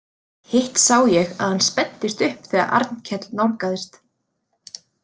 Hitt sá ég að hann spenntist upp þegar Arnkell nálgaðist.